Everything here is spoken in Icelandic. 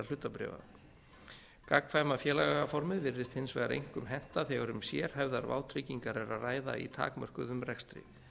félagsformið hann segir félagaformið virðist hins vegar einkum henta þegar um sérhæfðar vátryggingar er að ræða í takmörkuðum rekstri